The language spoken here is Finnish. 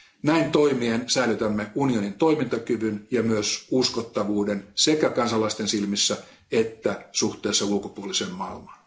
Näin toimien säilytämme unionin toimintakyvyn ja myös uskottavuuden sekä kansalaisten silmissä että suhteessa ulkopuoliseen maailmaan.